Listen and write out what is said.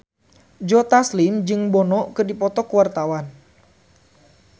Joe Taslim jeung Bono keur dipoto ku wartawan